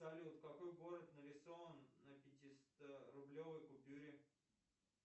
салют какой город нарисован на пятисторублевой купюре